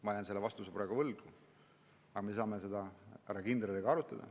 Ma jään selle vastuse praegu võlgu, aga me saame seda härra kindraliga arutada.